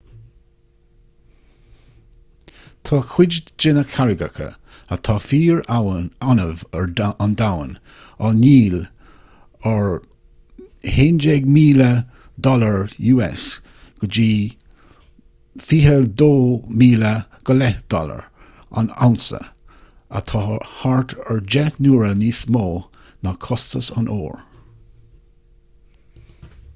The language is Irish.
tá cuid de na carraigeacha atá fíor-annamh ar an domhan á ndíol ar us$11,000 go $22,500 an unsa atá thart ar deich n-uaire níos mó ná costas an óir